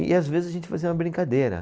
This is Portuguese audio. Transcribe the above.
E, às vezes, a gente fazia uma brincadeira.